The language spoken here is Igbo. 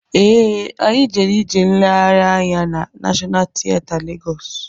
Ee, anyị jere ije nleghari anya na Nashọnal tieta Legọs.